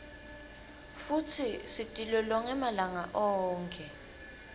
futsi sitilolonge malanga onkhe